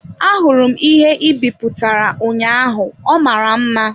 Ahụrụ m ihe ị bipụtara ụnyaahụ ọ mara mma.